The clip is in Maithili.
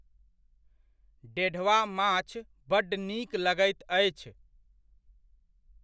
डेढ़वा माछ बड्ड नीक लगैत अछि।